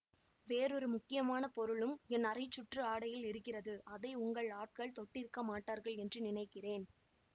வேறொரு முக்கியமான பொருளும் என் அரைச்சுற்று ஆடையில் இருக்கிறது அதை உங்கள் ஆட்கள் தொட்டிருக்க மாட்டார்கள் என்று நினைக்கிறேன்